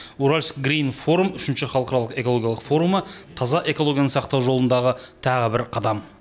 уральск грин форум үшінші халықаралық экологиялық форумы таза экологияны сақтау жолындағы тағы бір қадам